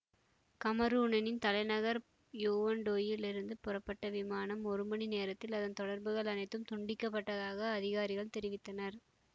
கமரூனனின் தலைநகர் யோ வுண்டேயில் இருந்து புறப்பட்ட விமானம் ஒரு மணி நேரத்தில் அதன் தொடர்புகள் அனைத்தும் துண்டிக்கப்பட்டதாக அதிகாரிகள் தெரிவித்தனர்